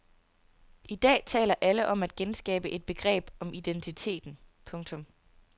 I dag taler alle om at genskabe et begreb om identiteten. punktum